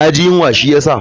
Na ji yunwa shi ya sa.